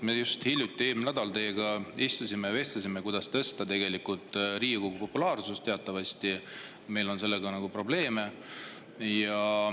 Me just hiljuti, eelmisel nädalal vestlesime teiega ja arutasime, kuidas tõsta Riigikogu populaarsust, sest teatavasti on meil sellega probleeme.